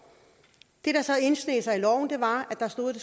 det der så indsneg sig i loven var at der stod at